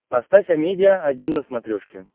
поставь амедиа один на смотрешке